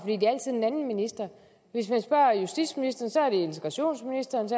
hvis man spørger justitsministeren er det integrationsministerens